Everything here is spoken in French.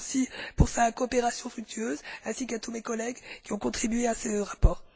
à M. Alfonsi pour sa coopération fructueuse, ainsi qu'à tous mes collègues qui ont contribué à ce rapport.